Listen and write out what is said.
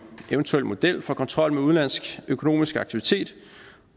eventuel model for kontrol med udenlandsk økonomisk aktivitet